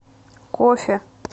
кофе